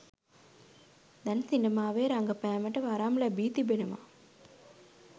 දැන් සිනමාවේ රඟපෑමට වරම් ලැබී තිබෙනවා.